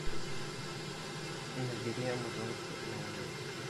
набери амазонки на луне